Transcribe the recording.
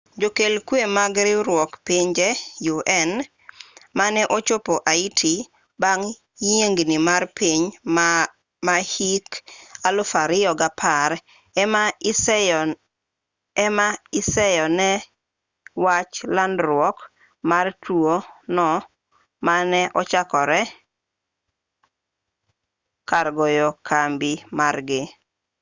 jokel kwe mag riwruok pinje un mane ochopo haiti bang' yiengni mar piny ma hik 2010 ema iseyo ne wach landruok mar tuo no mane ochakore but kar goyo kambi margi